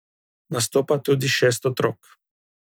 Nastopa tudi šest otrok.